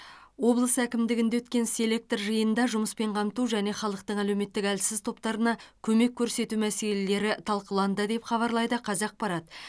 облыс әкімдігінде өткен селектор жиынында жұмыспен қамту және халықтың әлеуметтік әлсіз топтарына көмек көрсету мәселелері талқыланды деп хабарлайды қазақпарат